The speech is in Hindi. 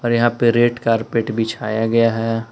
यहां पे रेड कार्पेट बिछाया गया है।